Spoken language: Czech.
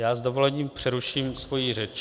Já s dovolením přeruším svoji řeč.